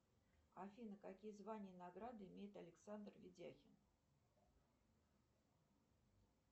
афина какие звания и награды имеет александр ведяхин